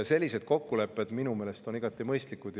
Sellised kokkulepped on minu meelest igati mõistlikud.